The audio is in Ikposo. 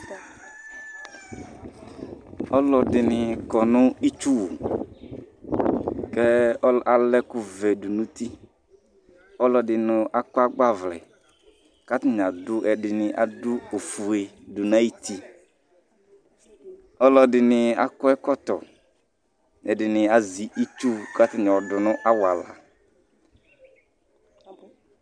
Ɔlu ɛɖìní kɔŋʋ itsʋwu kʋ ala ɛkuvɛ ɖʋŋʋ uti Ɔlu ɛɖìní akɔ agbavlɛ kʋ ɛɖìní aɖu ɔƒʋe ɖʋŋʋ aɣʋti Ɔlu ɛɖìní akɔ ɛkɔtɔ, ɛɖìní azɛ itsu kʋ ataŋi ayɔ ɖʋŋʋ awala